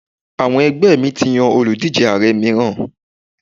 Àwọn ẹgbẹ́ mi ti yan òlùdíje Ààrẹ mìíràn.